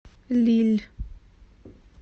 лилль